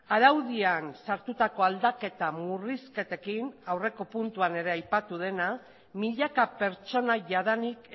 araudian sartutako aldaketa murrizketekin aurreko puntuan ere aipatu dena milaka pertsona jadanik